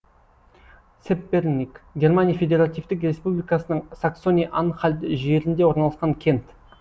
цепперник германия федеративтік республикасының саксония анхальт жерінде орналасқан кент